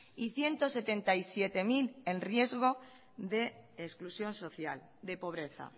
y ciento setenta y siete mil en riesgo de exclusión social de pobreza